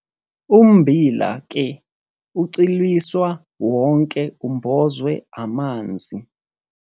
Ummbila ke ucwiliswa wonke umbozwe amanzi.